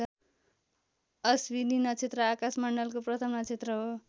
अश्विनी नक्षत्र आकाश मण्डलको प्रथम नक्षत्र हो।